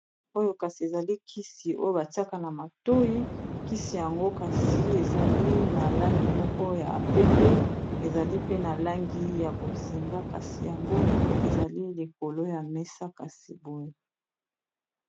oyo kasi ezali kisi oyo batiaka na matoi kisi yango kasi ezali na langi moko ya pembe ezali pe na langi ya bozinga kasi yango ezali likolo ya mesa kasi boye